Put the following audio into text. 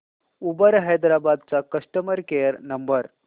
Uber Hyderabad चा customer care number